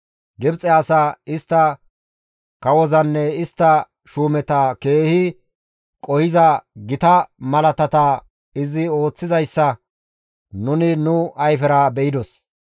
Gibxe asaa, istta kawozanne istta shuumeta keehi qohiza gita malaatata izi ooththizayssa nuni nu ayfera be7idos.